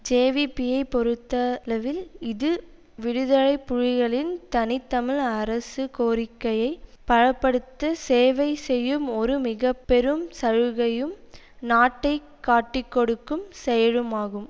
ஜேவிபியை பொறுத்தளவில் இது விடுதலை புலிகளின் தனி தமிழ் அரசு கோரிக்கையை பல படுத்த சேவை செய்யும் ஒரு மிக பெரும் சலுகையும் நாட்டை காட்டிக்கொடுக்கும் செயலுமாகும்